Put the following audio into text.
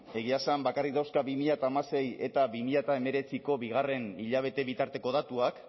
egia esan bakarrik dauzka bi mila hamasei eta bi mila hemezortziko bigarren hilabete bitarteko datuak